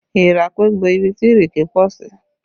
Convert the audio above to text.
Èèrà pé bo ibi tí ìrèké pọ̀ sí